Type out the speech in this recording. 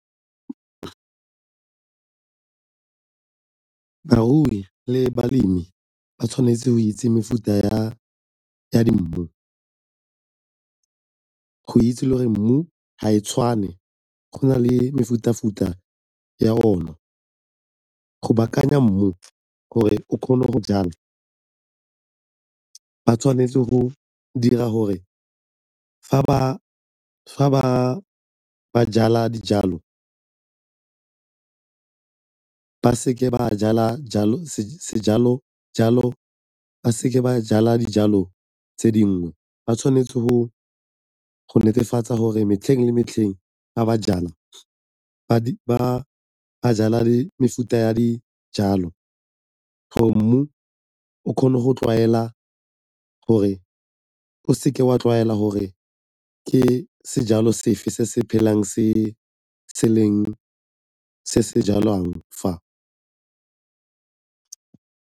Barui le balemi ba tshwanetse go itse mefuta ya di go itse gore mmu ga e tshwane, go na le mefuta-futa ya ona. Go baakanya mmu gore o kgone go jala, ba tshwanetse go dira gore fa ba ba jala dijalo ba seke ba jala dijalo tse dingwe, ba tshwanetse go netefatsa gore metlheng le metlheng fa ba jala ba jala le mefuta ya dijalo gore mmu o kgone gore o seke wa tlwaela gore ke sejalo sefe se se phelang se leng se se jalwang fa.